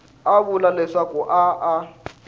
a vula leswaku a a